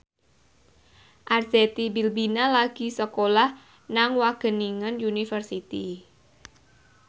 Arzetti Bilbina lagi sekolah nang Wageningen University